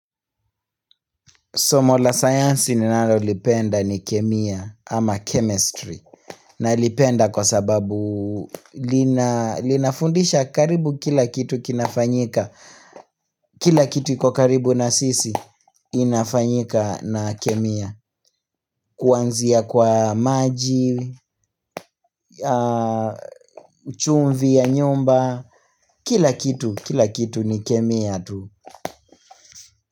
Somol a science ni ninalolipenda ni kemia ama chemistry Nailipenda kwa sababu linafundisha karibu kila kitu kinafanyika Kila kitu ikokaribu na sisi inafanyika na kemia Kuanzia kwa maji, chumvi ya nyumba, kila kitu ni kemia tu.